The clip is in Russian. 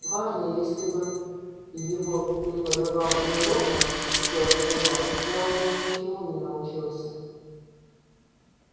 важный если бы его преподавал не локонс упёрся рон я у него ничему не научился